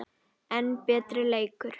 enn betri leikur.